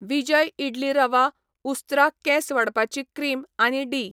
विजय इडली रवा, उस्त्रा केंस वाडपाची क्रीम आनी डी.